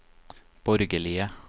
borgerlige